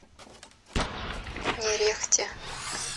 нерехте